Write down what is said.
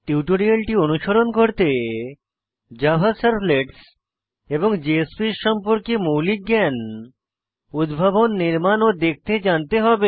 টিউটোরিয়ালটি অনুসরণ করতে জাভা সার্ভলেটস এবং জেএসপিএস সম্পর্কে মৌলিক জ্ঞান উদ্ভাবন নির্মাণ ও দেখতে জানতে হবে